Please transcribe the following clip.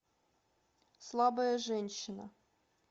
слабая женщина